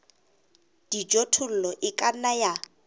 dijothollo e ka nna ya